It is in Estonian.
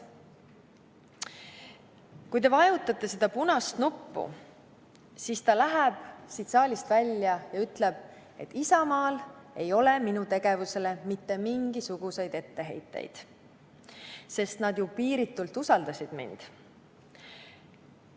Kui te vajutate seda punast nuppu, siis läheb ta siit saalist välja ja ütleb, et Isamaal ei ole minu tegevusele mitte mingisuguseid etteheiteid, sest nad ju piiritult usaldasid mind.